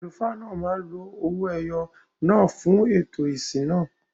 Àlùfáà náà máa ń lo ọwọ-ẹyọ̀ náà fún ààtò ìsìn náà